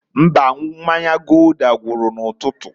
Mbaǃ Mmanya Gulder gwuru n'ụtụtụ.